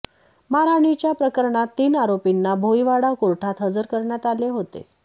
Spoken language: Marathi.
मारहाणीच्या प्रकरणात तीन आरोपींना भोईवाडा कोर्टात हजर करण्यात आले होते